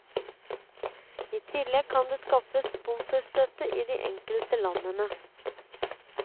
I tillegg kan det skaffes sponsorstøtte i de enkelte landene.